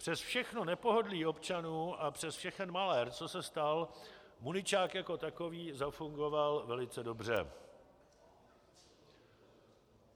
Přes všechno nepohodlí občanů a přes všechen malér, co se stal, muničák jako takový zafungoval velice dobře...